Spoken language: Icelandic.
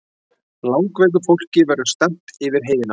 Langveiku fólki verði stefnt yfir heiðina